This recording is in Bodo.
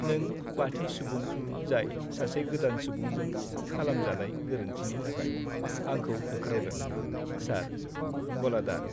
नों बाथि सुबुं जाय सासे गोदान सुबुंजों खालामजानाय गोरोन्थिनि थाखाय आंखौ होख्रावदों, सार। (गलादार)